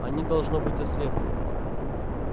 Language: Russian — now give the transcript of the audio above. они должно быть ослепли